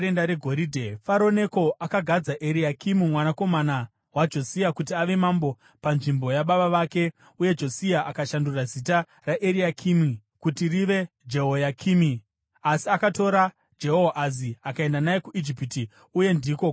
Faro Neko akagadza Eriakimi mwanakomana waJosia kuti ave mambo panzvimbo yababa vake uye Josia akashandura zita raEriakimi kuti rive Jehoyakimi. Asi akatora Jehoahazi akaenda naye kuIjipiti, uye ndiko kwaakafira.